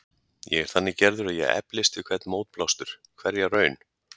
Ég er þannig gerður að ég eflist við hvern mótblástur, hverja raun.